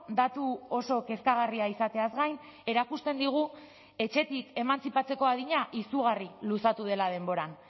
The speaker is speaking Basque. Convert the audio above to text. datu oso kezkagarria izateaz gain erakusten digu etxetik emantzipatzeko adina izugarri luzatu dela denboran